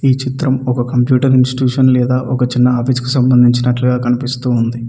ఈ చిత్రం ఒక కంప్యూటర్ ఇన్స్టిట్యూషన్ లేదా ఒక చిన్న ఆఫీస్ కు సంబంధించినట్లుగా కనిపిస్తూ ఉంది.